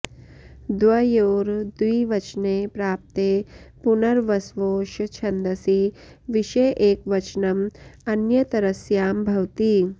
द्वयोर् द्विवचने प्राप्ते पुनर्वस्वोश् छन्दसि विषये एकवचनम् अन्यतरस्यां भवति